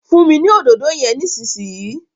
funmi ní Òdòdó yén nísìsiyìí!